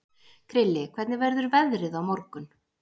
Krilli, hvernig verður veðrið á morgun?